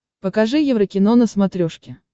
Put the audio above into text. покажи еврокино на смотрешке